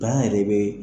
yɛrɛ be